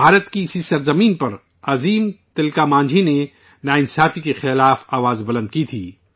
بھارت کی اسی سرزمین پر عظیم تلک مانجھی نے ناانصافی کے خلاف بگل پھونکا تھا